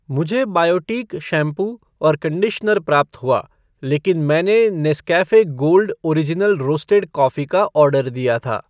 मुझे Biotique shampoo और conditioner प्राप्त हुआ लेकिन मैंने Nescafe gold original roasted coffee का ऑर्डर दिया था।